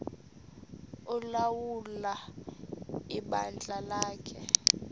ulawula ibandla lakhe